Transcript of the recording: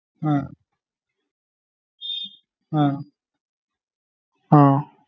ആഹ് അഹ് ആഹ്